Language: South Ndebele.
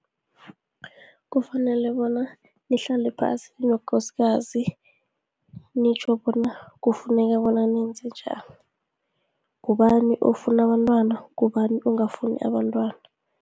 Kufanele bona nihlale phasi, ninokosikazi, nitjho bona kufuneka bona nenzenjani, ngubani ofuna abantwana, ngubani ongafuni abantwana.